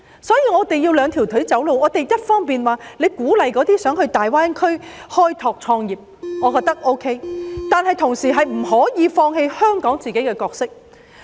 所以，我們需要"兩條腿走路"，一方面要鼓勵想到大灣區開拓事業或創業的人，我認為是可以的，但同時亦不可以放棄香港自己的角色。